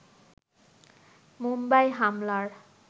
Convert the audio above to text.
মুম্বাই হামলার